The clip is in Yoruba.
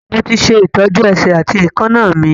Mo ti ṣe ìtọ́jú ẹsẹ̀ àti èékánná mi